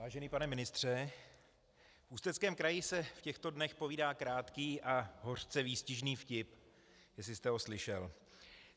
Vážený pane ministře, v Ústeckém kraji se v těchto dnech povídá krátký a hořce výstižný vtip, jestli jste ho slyšel.